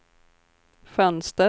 fönster